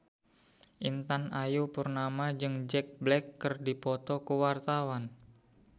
Intan Ayu Purnama jeung Jack Black keur dipoto ku wartawan